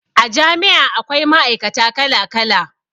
A jami'a akwai ma'aikata kala kala